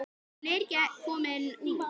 Hún er ekki komin út.